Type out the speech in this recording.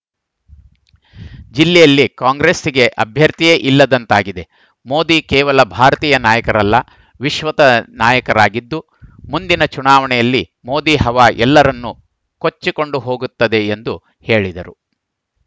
ಜಿಲ್ಲೆಯಲ್ಲಿ ಕಾಂಗ್ರೆಸ್‌ಗೆ ಅಭ್ಯರ್ಥಿಯೇ ಇಲ್ಲದಂತಾಗಿದೆ ಮೋದಿ ಕೇವಲ ಭಾರತೀಯ ನಾಯಕರಲ್ಲ ವಿಶ್ವದ ನಾಯಕರಾಗಿದ್ದು ಮುಂದಿನ ಚುನಾವಣೆಯಲ್ಲಿ ಮೋದಿ ಹವಾ ಎಲ್ಲರನ್ನು ಕೊಚ್ಚಿಕೊಂಡು ಹೋಗುತ್ತದೆ ಎಂದು ಹೇಳಿದರು